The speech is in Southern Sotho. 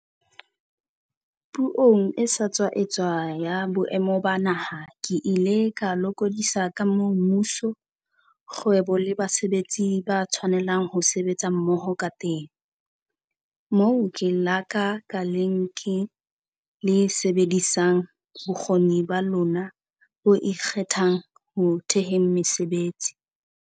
Puong e sa tswa etswa ya Boemo ba Naha, ke ile ka lokodisa ka moo mmuso, kgwebo le basebetsi ba tshwanelang ho sebetsa mmoho kateng, moo lekala ka leng le sebedisang bokgoni ba lona bo ikgethang ho theheng mesebetsi.